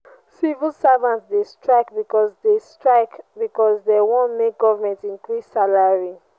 civil servants dey strike because dey strike because dey wan make government increase salary.